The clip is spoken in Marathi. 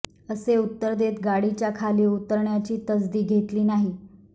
असे उत्तर देत गाडीच्या खाली उतरण्याची तसदी घेतली नाही